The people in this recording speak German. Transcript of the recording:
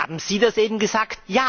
Haben Sie das eben gesagt?